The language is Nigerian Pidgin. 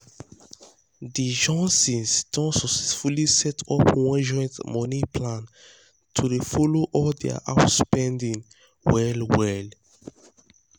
de johnsons don successfully set up one joint money plan to dey follow all dia house spending well well. well.